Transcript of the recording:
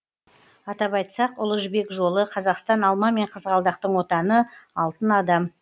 атап айтсақ ұлы жібек жолы қазақстан алма мен қызғалдақтың отаны алтын адам